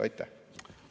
Aitäh!